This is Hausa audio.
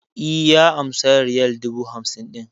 E, ya amsa riyal dubu hamsin ɗin.